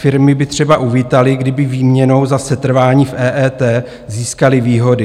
Firmy by třeba uvítaly, kdyby výměnou za setrvání v EET získaly výhody.